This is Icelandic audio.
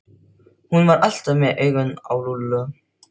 Hún var alltaf með augun á Lúlla.